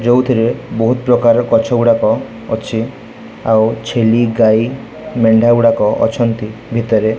ଯେଉଁଥିରେ ବହୁତ୍ ପ୍ରକାର ଗଛ ଗୁଡ଼ାକ ଅଛି ଆଉ ଛେଲି ଗାଈ ମେଣ୍ଢା ଗୁଡ଼ାକ ଅଛନ୍ତି ଭିତରେ।